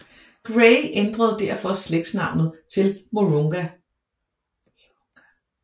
Gray ændrede derfor slægtsnavnet til Mirounga